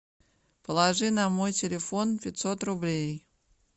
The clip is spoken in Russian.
положи на мой телефон пятьсот рублей